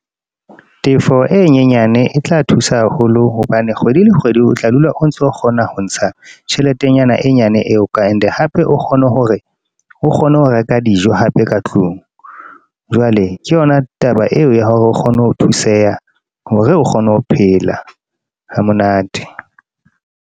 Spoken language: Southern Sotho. Tefo e nyenyane e tla thusa haholo. Hobane, kgwedi le kgwedi o tla dula o ntso kgona ho ntsha tjheletenyana e nyane eo ka. E ne then hape o kgone hore o kgone ho reka dijo hape ka tlung. Jwale ke yona taba eo ya hore o kgone ho thuseha, hore o kgone ho phela ha monate.